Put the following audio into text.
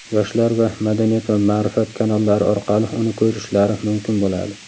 "Yoshlar" va "Madaniyat va ma’rifat" kanallari orqali uni ko‘rishlari mumkin bo‘ladi.